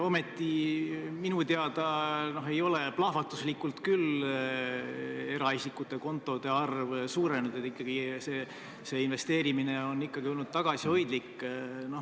Ometi pole minu teada küll eraisikute kontode arv plahvatuslikult suurenenud ja investeerimine on olnud ikkagi tagasihoidlik.